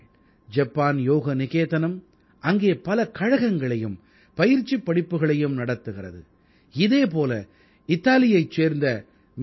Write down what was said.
Japan யோக நிகேதனம் அங்கே பல கழகங்களையும் பயிற்சிப் படிப்புக்களையும் நடத்துகிறது இதே போல இத்தாலியைச் சேர்ந்த எம்எஸ்